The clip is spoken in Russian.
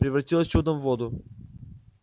превратилась чудом в воду